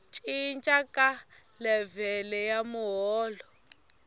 cinca ka levhele ya muholo